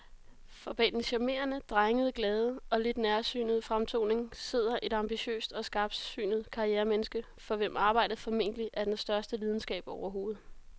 For bag den charmerende, drengede, glade og lidt nærsynede fremtoning sidder et ambitiøst og skarpsynet karrieremenneske, for hvem arbejdet formentlig er den største lidenskab overhovedet.